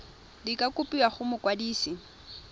di ka kopiwa go mokwadise